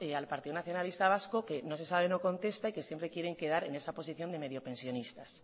al partido nacionalista vasco que no se sabe no contesta y siempre quieren quedar en esa posición de mediopensionistas